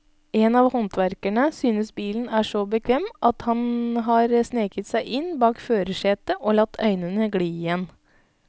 En av håndverkerne synes bilen er så bekvem at han har sneket seg inn bak førersetet og latt øynene gli igjen.